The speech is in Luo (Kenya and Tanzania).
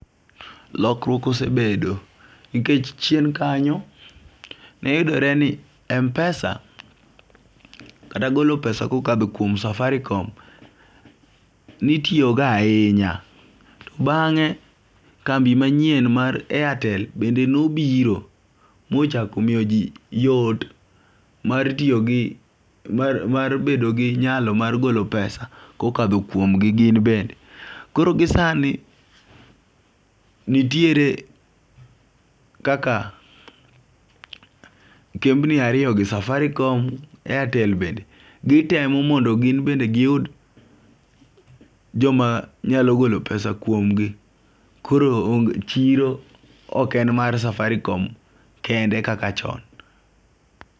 Lokruok osebedo nikech chien kanyo neyudore ni mpesa kata golo pesa kokadho kuom safarikom , nitiyo go ahinya .To bang'e kambi manyien mar airtel bende nobiro mochako miyo jii yot mar tiyo gi mar mar bedo gi nyalo mar golo pesa kokadho kuomgi gin bende. Koro gisani nitiere kaka kembni ariyo gi safarikom airtel bende ,gitemo mondo gin bende giyud joma nyalo golo pesa kuom gi koro o chiro ok ne mana mar safarikom kende kaka chon.